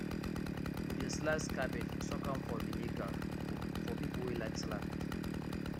we dey slice cabbage soak am for vinegar for people wey like salad